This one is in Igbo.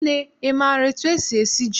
Nne, ị maara etu esi esi ji?